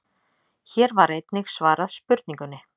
Hér var einnig svarað spurningunni: